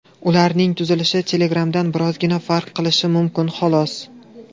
Ularning tuzilishi Telegram’dan birozgina farq qilishi mumkin, xolos.